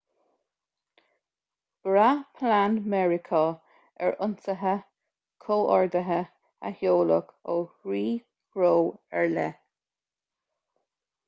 bhraith plean mheiriceá ar ionsaithe comhordaithe a sheoladh ó thrí threo ar leith